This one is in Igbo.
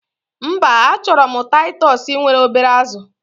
Mba, achorom titus nwere obere azu